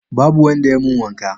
Babu wanda ya mun wanka